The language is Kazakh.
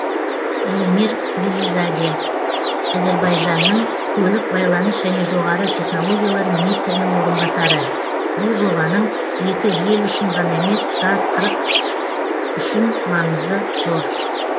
эльмир велизаде әзербайжанның көлік байланыс және жоғары технологиялар министрінің орынбасары бұл жобаның екі ел үшін ғана емес тұтас құрық үшін маңызы зор